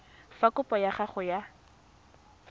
fa kopo ya gago ya